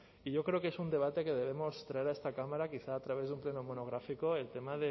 y yo creo que es un debate que debemos traer a esta cámara quizá a través de un pleno monográfico el tema